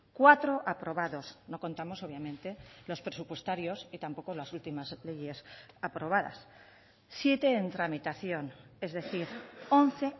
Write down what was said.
cuatro aprobados no contamos obviamente los presupuestarios y tampoco las últimas leyes aprobadas siete en tramitación es decir once